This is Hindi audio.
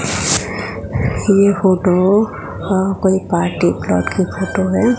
ये फोटो अ कोई पार्टी प्लॉट की फोटो है।